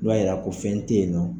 I b'a yira ko fɛn te yen nɔ.